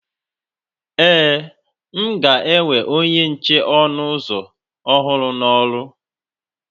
Ee, m ga-ewe onye nche ọnụ ụzọ ọhụrụ n'ọrụ